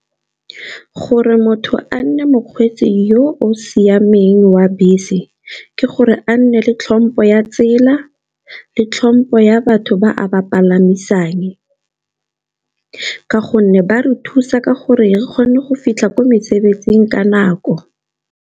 Gore motho a nne mokgweetsi yo o siameng wa bese, ke gore a nne le tlhompho ya tsela le tlhompho ya batho ba a ba palamisang. Ka gonne ba re thusa ka gore re kgone go fitlha kwa mesebetsing ka nako.